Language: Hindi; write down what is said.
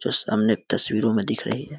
जो सामने एक तस्वीरों में दिख रही है।